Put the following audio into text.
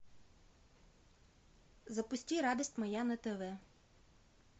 запусти радость моя на тв